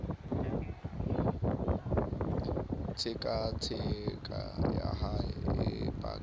tshekatsheko ya hae e paka